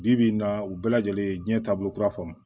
Bi bi in na u bɛɛ lajɛlen ye diɲɛ taabolo kura fɔ